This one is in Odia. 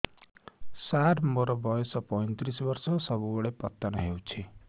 ସାର ମୋର ବୟସ ପୈତିରିଶ ବର୍ଷ ସବୁବେଳେ ପତନ ହେଉଛି